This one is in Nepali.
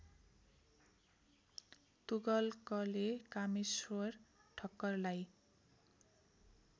तुगलकले कामेश्वर ठक्करलाई